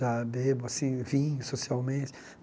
Já bebo, assim, vinho socialmente.